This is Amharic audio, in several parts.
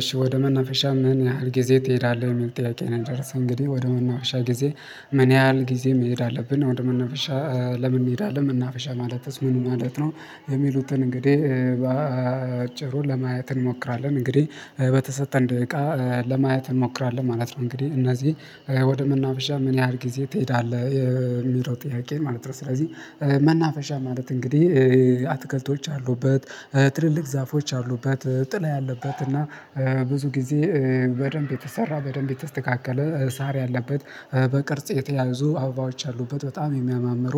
እሺ ወደ መናፈሻ ምን ያህል ጊዜ ትሄዳለህ? የሚል ጥያቄ ነው የደርሰኝ እንግዲህ ወደ መናፈሻ ጊዜ ምን ያህል ጊዜ መሄድ አለብን ወደ መናፈሻ ለምን እንሄዳለን ምን መናፈሻ ማለትስ ምን ማለት ነው የሚሉትን እንግዲህ በአጭሩ ለማየት እንሞክራለን እንግዲህ በተሰጠን ደቂቃ ለማየት እንሞክራለን ማለት ነው እንግዲህ እነዚህ ወደ መናፈሻ ምን ያህል ጊዜ ትሄዳለህ? የሚለው ጥያቄ ማለት ነው ስለዚህ መናፈሻ ማለት እንግዲህ አትክልቶች ያሉበት ትልልቅ ዛፎች ያሉበት ጥላ ያለበት እና ብዙ ጊዜ በደንብ የተሰራ በደንብ የተስተካከለ ሳር ያለበት በቅርጽ የተያዙ አበባዎች አሉበት በጣም የሚያማምሩ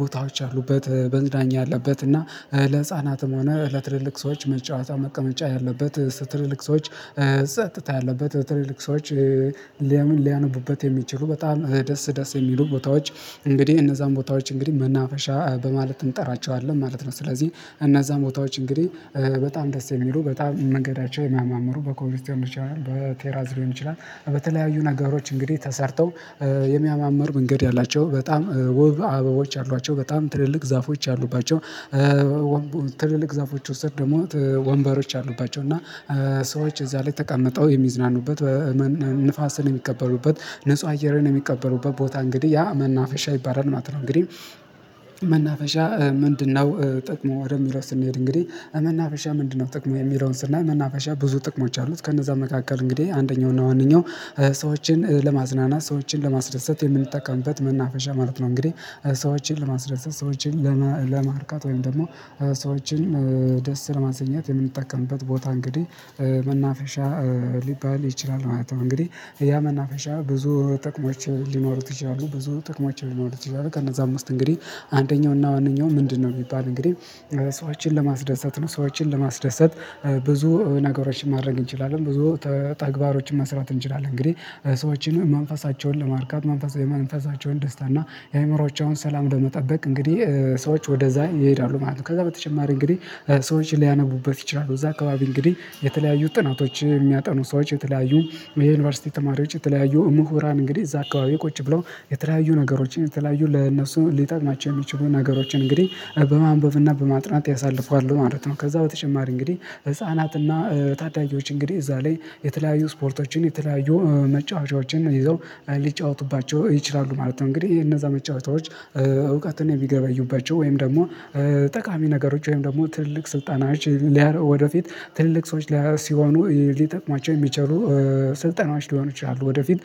ቦታዎች ያሉበት መዝናኛ ያለበት እና ለህፃናትም ሆነ ለትልልቅ ሰዎች መጫወቻ መቀመጫ ያለበት ትልልቅ ሰዎች ጸጥታ ያለበት ትልልቅ ሰዎች ሊያነቡበት የሚችሉ በጣም ደስ ደስ የሚሉ ቦታዎች እንግዲህ እነዛን ቦታዎች እንግዲህ መናፈሻ በማለት እንጠራቸዋለን ማለት ነው ስለዚህ እነዛ ቦታዎች እንግዲህ በጣም ደስ የሚሉ በጣም መንገዳቸው የማምሩ በኮንሲስተን ሊሆን ይችላል በቴራዝ ሊሆን ይችላል በተለያዩ ነገሮች እንግዲህ ተሰርተው የሚያማምር መንገድ ያላቸው በጣም ውብ አበቦች አሏቸው በጣም ትልልቅ ዛፎች አሉባቸው ትልልቅ ዛፎች ውስጥ ደግሞ ወንበሮች አሉባቸው እና ሰዎች እዛ ላይ ተቀመጠው የሚዝናኑበት ንፋስን የሚቀበሉበት ንጹህ አየርን የሚቀበሉበት ቦታ እንግዲህ ያ መናፈሻ ይባላል ማለት ነው እንግዲህ መናፈሻ ምንድነው ጥቅሙ ወደሚለው ስንሄድ እንግዲህ መናፈሻ ምንድነው ጥቅሙ የሚለውን ስናይ መናፈሻ ብዙ ጥቅሞች አሉት ከነዛ መካከል እንግዲህ አንደኛው እና ዋነኛው ሰዎችን ለማዝናናት ሰዎችን ለማስደሰት የምንጠቀምበት መናፈሻ ማለት ነው እንግዲህ ሰዎችን ለማስደሰት ሰዎችን ለማርካት ወይም ደግሞ ሰዎችን ደስ ለማሰኘት የምንጠቀምበት ቦታ እንግዲህ መናፈሻ ሊባል ይችላል ማለት ነው እንግዲህ ያ መናፈሻ ብዙ ጥቅማቸው ሊኖሩት ይችላሉ ብዙ ጥቅማቸው ሊኖሩት ይችላሉ ያደረገ እነዛ አምስት እንግዲህ አንደኛው እና ዋነኛው ምንድነው የሚባል እንግዲህ ሰዎችን ለማስደሰት ነው ሰዎችን ለማስደሰት ብዙ ነገሮችን ማድረግ እንችላለን ብዙ ተግባሮችን መስራት እንችላለን እንግዲህ ሰዎችን መንፈሳቸውን ለማርካት መንፈሳቸውን ደስታ እና የአእምሮአቸውን ሰላም ለመጠበቅ እንግዲህ ሰዎች ወደዛ ይሄዳሉ ማለት ነው ከዛ በተጨማሪ እንግዲህ ሰዎችን ሊያነቡበት ይችላሉ እዛ አካባቢ እንግዲህ የተለያዩ ጥናቶች የሚያጠኑ ሰዎች የተለያዩ የዩኒቨርሲቲ ተማሪዎች የተለያዩ ምሁራን እንግዲህ እዛ አካባቢ ቁጭ ብለው የተለያዩ ነገሮችን የተለያዩ ለእነሱ ሊጠቅማቸው የሚችሉ ነገሮችን እንግዲህ በማንበብና በማጥናት ያሳልፋሉ ማለት ነው ከዛ በተጨማሪ እንግዲህ ህፃናትና ታዳጊዎች እንግዲህ እዛ ላይ የተለያዩ ስፖርቶችን የተለያዩ መጫወቻዎችን ይዘው ሊጫወቱባቸው ይችላሉ ማለት ነው እንግዲህ ይሄ እነዛ መጫወቻዎች እውቀትን የሚገበዩባቸው ወይም ደግሞ ጠቃሚ ነገሮች ወይም ደግሞ ትልቅ ስልጣናችን ሊያርብ ወደፊት ትልልቅ ሰዎች ሲሆኑ ሊጠቅሟቸው የሚችሉ ስልጠናዎች ሊሆኑ ይችላሉ ወደፊት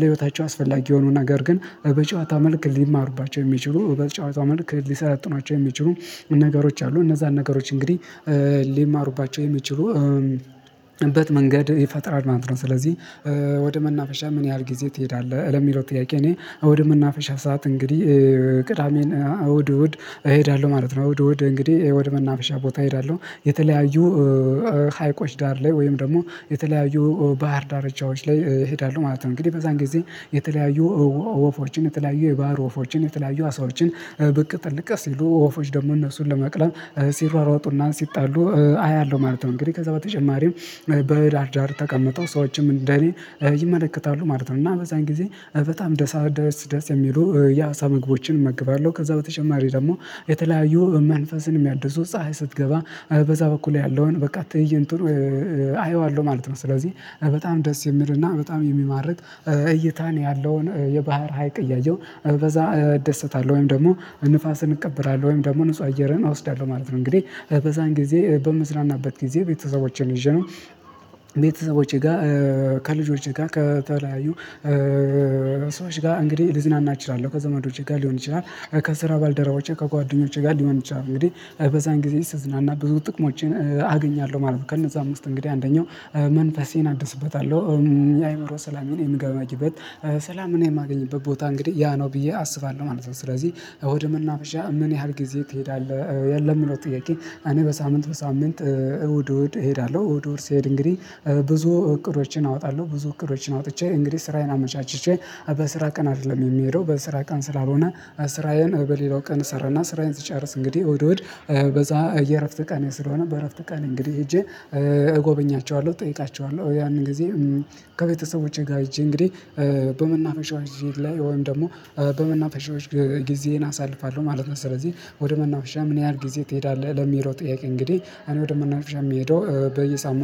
ለህይወታቸው አስፈላጊ የሆኑ ነገር ግን በጨዋታ መልክ ሊማሩባቸው የሚችሉ በጨዋታ መልክ ሊሰለጥኗቸው የሚችሉ ነገሮች አሉ እነዛን ነገሮች እንግዲህ ሊማሩባቸው የሚችሉ እበት መንገድ ይፈጥራል ማለት ነው ስለዚህ ወደ መናፈሻ ምን ያህል ጊዜ ትሄዳለህ? ለሚለው ጥያቄ እኔ እሁድ የምናፈሻ ሰዓት እንግዲህ ቅዳሜን እሀድ እሁድ እሄዳለሁ ማለት ነው እሁድ እሁድ እንግዲህ ያው ወደ መናፈሻ ቦታ እሄዳለሁ የተለያዩ ሀይቆች ዳር ላይ ወይም ደግሞ የተለያዩ ባህር ዳርቻዎች ላይ እሄዳለሁ ማለት ነው እንግዲህ በዛን ጊዜ የተለያዩ ወፎችን የተለያዩ የባህር ወፎችን የተለያዩ አሳዎችን ብቅ ጥልቅ ስልሉ ወፎች ደግሞ እነሱን ለመቅለም ሲሯሯጡና ሲጣሉ አያለሁ ማለት ነው እንግዲህ ከዛ በተጨማሪም በዳር ዳር ተቀምጠው ሰዎችም እንደኔ ይመለከታሉ ማለት ነው እና በዛን ጊዜ በጣም ደሳ ደስ ደስ የሚሉ የሀሳብ ምግቦችን እመግባለሁ ከዛ በተጨማሪ ደግሞ የተለያዩ መንፈስንም የሚያድሱት ፀሀይ ስትገባ በዛ በኩል ያለውን በቃ ትእይቱን ጥሩ ማለት ነው ስለዚህ በጣም ደስ የሚልና በጣም የሚማርቅ እይታን ያለውን የባህር ሀይቅ እያየው በዛ እደሰታለሁ ወይም ደግሞ ንፋስን እቀበላለሁ ወይም ደግሞ ንጹህ አየርን አወስዳለሁ ማለት ነው እንግዲህ በዛን ጊዜ በምስራናበት ጊዜ ቤተሰቦቼን ይዤ ነው ቤተሰቦቼ ጋር ከልጆቼ ጋር ከተለያዩ ሰዎች ጋር እንግዲህ ልዝናና እችላለሁ ከዘመዶቼ ጋር ሊሆን ይችላል ከስራ ባልደረባቸው ከጓደኞቼ ጋር ሊሆን ይችላል እንግዲህ በዛን ጊዜ ስዝናና ብዙ ጥቅሞቼን ጥቅሞችን አገኛለሁ ማለት ነው ከነዛ አምስት እንግዲህ አንደኛው መንፈሴን አድስበታለሁ የአእምሮ ሰላም እኔ የምገባችበት ሰላም እኔ የማገኝበት ቦታ እንግዲህ ያ ነው ብዬ አስባለሁ ማለት ነው ስለዚህ እሆድም እናብዣ ምን ያህል ጊዜ ትሄዳለህ? የለም ነው ጥያቄ እኔ በሳምንት በሳምንት እሁድ እሁድ እሄዳለሁ እሁድ እሄድ እንግዲህ ብዙ እቅዶችን አወጣለሁ ብዙ እቅዶችን አውጥቼ እንግዲህ ስራዬን አመቻችቼ በስራ ቀን አይደለም የሚሄደው በስራ ቀን ስላልሆነ ስራዬን በሌላው ቀን ሰራና ስራዬን ሲጨርስ እንግዲህ ወድ ወድ በዛ የእረፍት ቃል ስለሆነ በእረፍት ቃል እንግዲህ ሄጄ እጎበኛቸዋለሁ እጠይቃቸዋለሁ ያንን ጊዜ ከቤተሰቦቼ ጋር ሄጄ እንግዲህ በመናፈሻዎች ጊዜ ላይ ወይም ደግሞ በመናፈሻዎች ጊዜዬን አሳልፋለሁ ማለት ነው ስለዚህ ወደ መናፍሻ ምን ያህል ጊዜ ትሄዳለህ ለሚሮጥ ጥያቄ እንግዲህ እኔ ወደምናነብ የምሄደው በየሳምንቱ